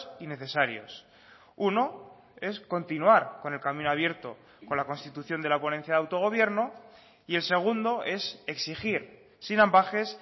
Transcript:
y necesarios uno es continuar con el camino abierto con la constitución de la ponencia de autogobierno y el segundo es exigir sin ambages